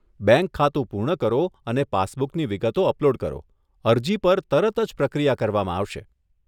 Bank ખાતું પૂર્ણ કરો અને પાસબુકની વિગતો અપલોડ કરો, અરજી પર તરત જ પ્રક્રિયા કરવામાં આવશે.